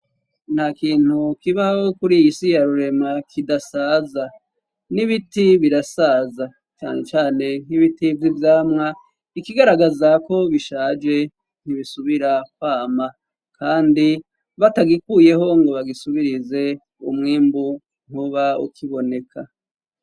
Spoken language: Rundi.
Nta kintu kibaho kuri iy'isi ya rurema kidasaza ,n'ibiti birasaza cane cane nk'ibiti vy' ibyamwa, ikigaragaza ko bishaje ,ntibisubira kwama kandi batagikuyeho ngo bagisubirize ,umwimbu ntuba ukiboneka.